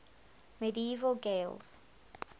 medieval gaels